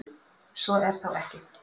Svo er þó ekki.